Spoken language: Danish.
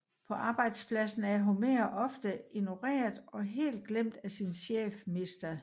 På arbejdspladsen er Homer ofte ignoreret og helt glemt af sin chef Mr